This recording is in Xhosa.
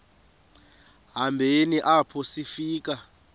hambeni apho sifika